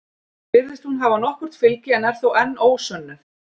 Virðist hún hafa nokkurt fylgi en er þó enn ósönnuð.